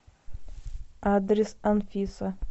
адрес анфиса